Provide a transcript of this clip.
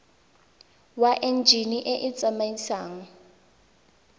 wa enjine e e tsamaisang